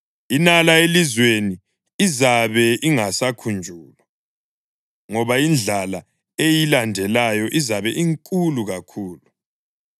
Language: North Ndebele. Inala elizweni izabe ingasakhunjulwa, ngoba indlala eyilandelayo izabe inkulu kakhulu.